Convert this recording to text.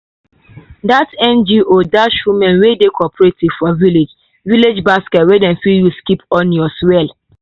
that ngo dash women wey dey cooperative for village village basket wey dem fit use keep onions well.